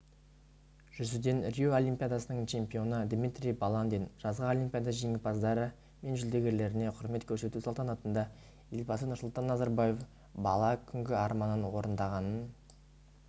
жүзуден рио олимпиадасының чемпионы дмитрий баландин жазғы олимпиада жеңімпаздары мен жүлдергерлеріне құрмет көрсету салтанатында елбасы нұрсұлтан назарбаев бала күнгі арманын орындағанын